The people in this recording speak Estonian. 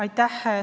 Aitäh!